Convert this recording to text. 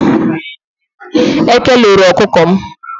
Eke loro okuko m.